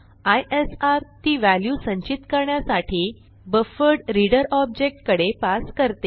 ISR ती value संचित करण्यासाठी बफरड्रीडर ऑब्जेक्ट कडे पास करते